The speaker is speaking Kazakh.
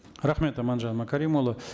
рахмет аманжан мәкәрімұлы